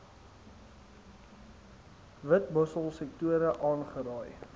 witmossel sektore aangeraai